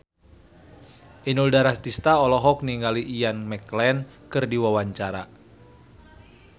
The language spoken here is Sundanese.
Inul Daratista olohok ningali Ian McKellen keur diwawancara